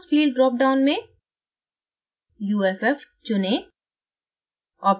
force field drop down में uff चुनें